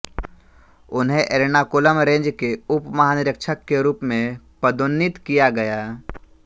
उन्हें एर्नाकुलम रेंज के उप महानिरीक्षक के रूप में पदोन्नित किया गया